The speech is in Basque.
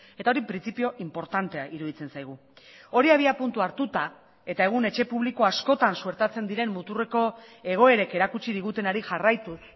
eta hori printzipio inportantea iruditzen zaigu hori abiapuntu hartuta eta egun etxe publiko askotan suertatzen diren muturreko egoerek erakutsi digutenari jarraituz